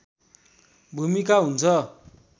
भूमिका हुन्छ